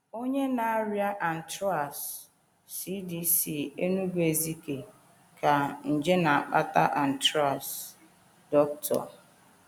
Onye na - arịa anthrax: CDC, Enugu-Ezike, Ga.; nje na - akpata anthrax: © Dr um.